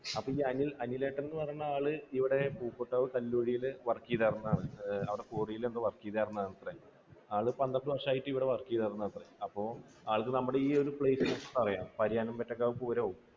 അപ്പോൾ ഈ അനിൽ, അനിലേട്ടൻ എന്ന് പറയുന്ന ആള് ഇവിടെ കല്ലുകുഴിയിൽ work ചെയ്തിരുന്ന ആളാണ്. അവിടെ ക്വാറിയിൽ എന്തോ work ചെയ്തിരുന്നതാണത്രേ. ആള് പന്ത്രണ്ട് വർഷമായിട്ട് ഇവിടെ വർക്ക് ചെയ്തിരുന്നതാണ് അപ്പോ ആൾക്ക് നമ്മുടെ ഈ place ഒക്കെ അറിയാം.